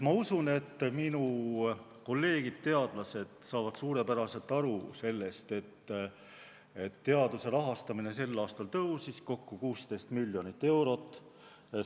Ma usun, et minu kolleegid teadlased saavad suurepäraselt aru sellest, et teaduse rahastamine tõusis sel aastal kokku 16 miljonit eurot.